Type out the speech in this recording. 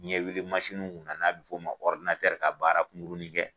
ɲɛ wele masiniw na na n'a bɛ fɔ ma ka baara kunkurunin kɛ.